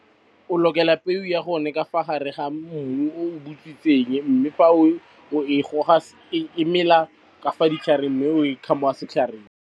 O lokela peo ya gone ka fa gare ga mmu o o butswitseng mme fa o e goga e mela ka fa ditlhareng mme o setlhareng.